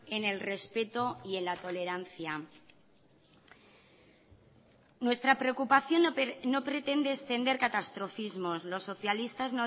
en el respeto y en la tolerancia nuestra preocupación no pretende extender catastrofismos los socialistas